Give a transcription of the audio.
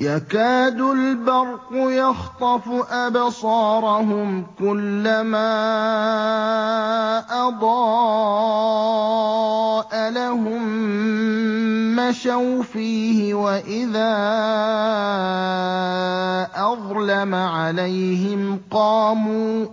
يَكَادُ الْبَرْقُ يَخْطَفُ أَبْصَارَهُمْ ۖ كُلَّمَا أَضَاءَ لَهُم مَّشَوْا فِيهِ وَإِذَا أَظْلَمَ عَلَيْهِمْ قَامُوا ۚ